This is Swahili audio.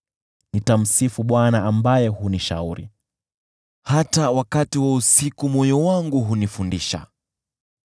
Nitamsifu Bwana ambaye hunishauri, hata wakati wa usiku moyo wangu hunifundisha.